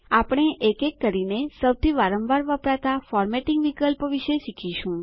આપણે એક એક કરીને સૌથી વારંવાર વપરાતા ફોર્મેટિંગ વિકલ્પો વિશે શીખીશું